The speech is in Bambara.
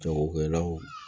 Jagokɛlaw